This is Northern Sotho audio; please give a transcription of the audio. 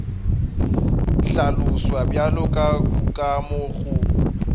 hlaloswa bjalo ka kukamo go